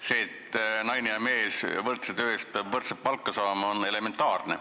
See, et naine ja mees võrdse töö eest peavad võrdset palka saama, on elementaarne.